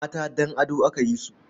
Mata don ado aka yi su.